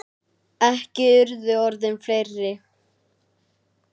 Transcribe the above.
Ekki urðu orðin fleiri.